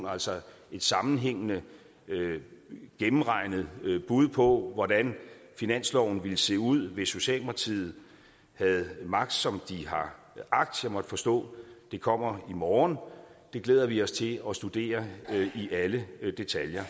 altså et sammenhængende gennemregnet bud på hvordan finansloven ville se ud hvis socialdemokratiet havde magt som de har agt jeg måtte forstå at det kommer i morgen det glæder vi os til at studere i alle detaljer